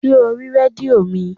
Ṣé o rí rédíò mi?